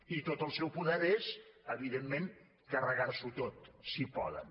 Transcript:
i tot el seu poder és evidentment carregar s’ho tot si poden